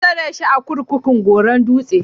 An tsare shi a kurkukun Goron Dutse.